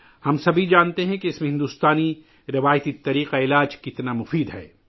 ہم سب جانتے ہیں کہ بھارتی روایتی طریقے اس میں کتنے کارآمد ہیں